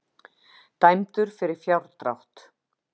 Dæmdur fyrir fjárdrátt